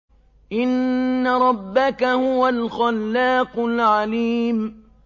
إِنَّ رَبَّكَ هُوَ الْخَلَّاقُ الْعَلِيمُ